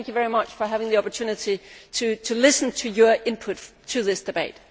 So thank you very much for giving me the opportunity to listen to your input to this debate.